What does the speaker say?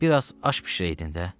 Bir az aş bişirəydin də.